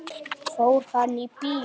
Fór hann í bíó?